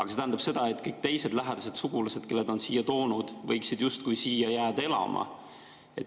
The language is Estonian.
See tähendab, et kõik teised lähedased sugulased, kelle ta on siia toonud, võiksid justkui siia elama jääda.